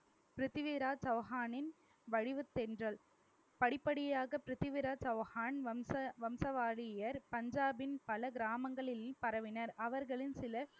பிரித்திவிராஜ் சௌஹானின் வடிவுத் தென்றல் படிப்படியாக பிரித்திவிராஜ் சௌஹான் வம்சா~ வம்சவாரியர் பஞ்சாபின் பல கிராமங்களில் பரவினர் அவர்களில் சிலர்